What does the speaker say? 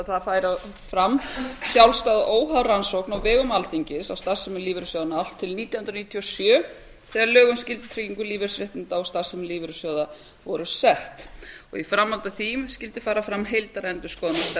það færi fram sjálfstæð óháð rannsókn á vegum alþingis á starfsemi lífeyrissjóðanna allt til nítján hundruð níutíu og sjö þegar lög um skyldutryggingu lífeyrisréttinda og starfsemi lífeyrissjóða voru sett í framhaldi af því skyldi fara fram heildarendurskoðun á stefnu og